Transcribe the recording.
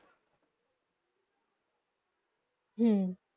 হম্মমমম